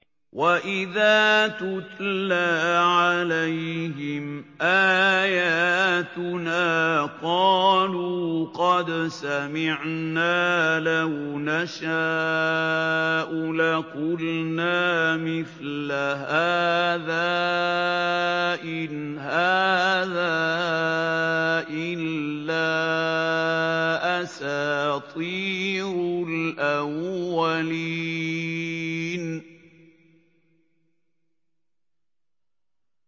وَإِذَا تُتْلَىٰ عَلَيْهِمْ آيَاتُنَا قَالُوا قَدْ سَمِعْنَا لَوْ نَشَاءُ لَقُلْنَا مِثْلَ هَٰذَا ۙ إِنْ هَٰذَا إِلَّا أَسَاطِيرُ الْأَوَّلِينَ